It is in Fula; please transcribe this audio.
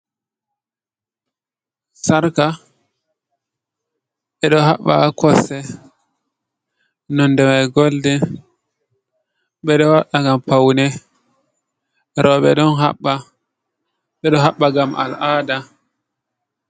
Sarka: Ɓe ɗo haɓɓa ha kosɗe nonde mai golden, ɓedo waɗa ngam paune, roɓe ɗo haɓɓa, ɓe ɗo haɓɓa ngam al'aada.